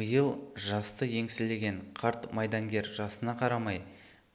биыл жасты еңселеген қарт майдангер жасына қарамай